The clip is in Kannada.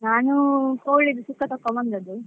ನಾನು ಕೋಳಿದು ಸುಕ್ಕ ತಕೊಂಡ್ ಬಂದದ್ದು.